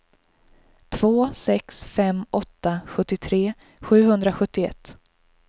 två sex fem åtta sjuttiotre sjuhundrasjuttioett